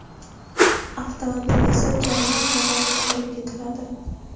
Avtomobil esa jarima maydoniga olib ketiladi.